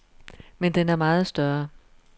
Men den er meget større.